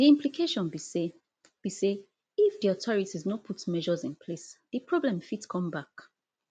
di implication be say be say if di authorities no put measures in place di problem fit come back